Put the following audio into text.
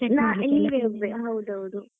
ಹೌದೌದು.